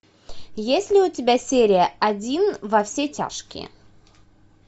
есть ли у тебя серия один во все тяжкие